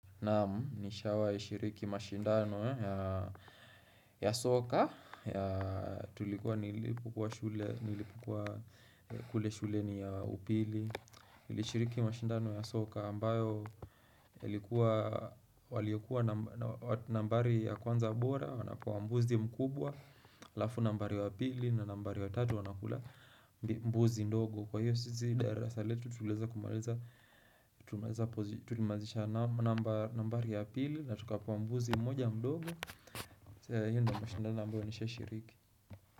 Naam, nishawai shiriki mashindano ya soka Tulikuwa nilipukua shule, nilipukua kule shuleni ya upili nilishiriki mashindano ya soka ambayo waliokuwa nambari ya kwanza bora, wanapewa mbuzi mkubwa Lafu nambari ya pili na nambari ya tatu wanakula mbuzi ndogo Kwa hiyo sisi darasa letu tulimaliza nambari ya pili na tukapewa mbuzi mmoja mdogo hio ndio mashindano ambayo nisha shiriki.